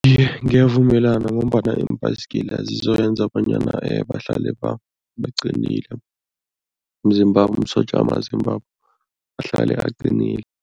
Iye, ngiyavumelana ngombana iimbhayisigila zizoyenza bonyana bahlale baqinile, imzimbabo imisotja yamazimbabo, ahlale aqinile.